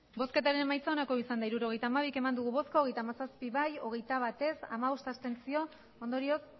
hirurogeita hamabi eman dugu bozka hogeita hamazazpi bai hogeita bat ez hamabost abstentzio ondorioz